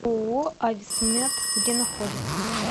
ооо ависмед где находится